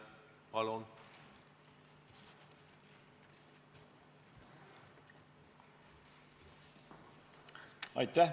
Palun!